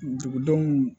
Dugudenw